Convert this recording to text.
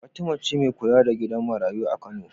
Fatima ce me kula da gidan marayu a kano